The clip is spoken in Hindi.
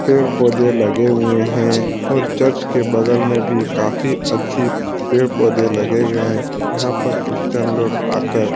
पेड़-पौधे लगे हुए है और चर्च के बगल में भी काफी अच्छी पेड़-पौधे लगे गए है यहाँ पर क्रिस्चियन लोग आकर --